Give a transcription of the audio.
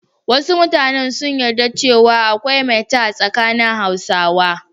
Wasu mutanen sun yarda cewa akwai maita a tsakanin Hausawa.